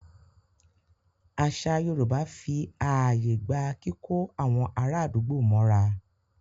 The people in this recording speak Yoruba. Àṣà Yorùbá fí ààyè gba kíkó àwọn ará àdúgbò mọ́ra.